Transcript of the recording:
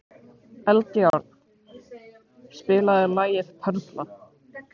Eldjárn, spilaðu lagið „Perla“.